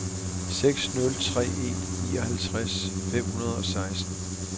seks nul tre en nioghalvtreds fem hundrede og seksten